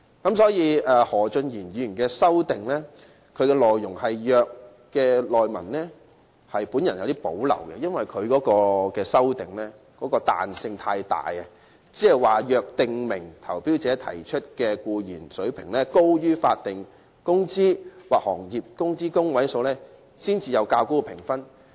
故此，對於何俊賢議員的修正案載有"若"的字眼，我有所保留，因為他的修正案的彈性太大，訂明若投標者提出的僱員工資水平高於法定工資或行業工資中位數，便會有較高的評分。